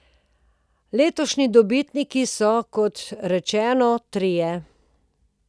Letošnji dobitniki so, kot rečeno, trije.